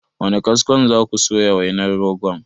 Da wane kaskon za ku soya wainar rogon?